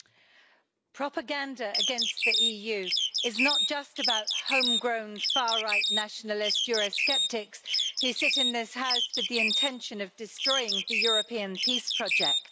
Mr President, propaganda against the EU is not just about homegrown far right nationalist Eurosceptics, who sit in this House with the intention of destroying the European peace project.